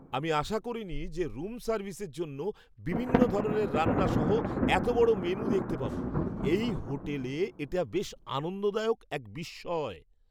আমি আশা করিনি যে রুম সার্ভিসের জন্য বিভিন্ন ধরণের রান্না সহ এত বড় মেনু দেখতে পাব। এই হোটেলে এটা বেশ আনন্দদায়ক এক বিস্ময়!